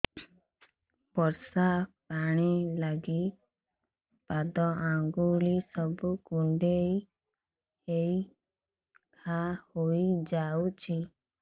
ବର୍ଷା ପାଣି ଲାଗି ପାଦ ଅଙ୍ଗୁଳି ସବୁ କୁଣ୍ଡେଇ ହେଇ ଘା ହୋଇଯାଉଛି